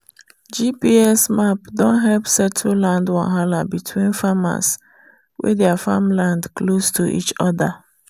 gps map don help settle land wahala between farmers wey their farmland close to each other.